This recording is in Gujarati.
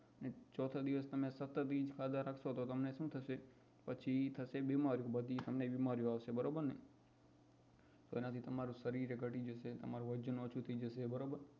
ચોથા દિવસ તમે સતત એજ ખાધા રાખસો તો તમને શું થશે પછી થશે બીમારી તમને બધી બીમારીઓ આવશે તો એનાથી તમારું શરીર એય તમારું વજન ઓછું થઇ જશે